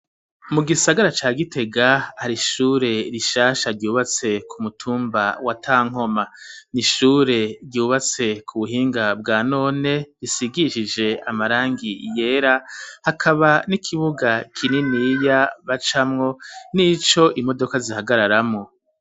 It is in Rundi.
Mu gisagara ca gitega hari ishure rishasha ryubatse ku mutumba wa ta nkoma nishure ryubatse ku buhinga bwa none risigishije amarangi iyera hakaba n'ikibuga kininiya ba camwo n'ico imodoka zihagararamwo.